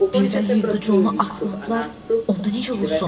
Birdən Hindi Conu asmadılar, onda necə olsun?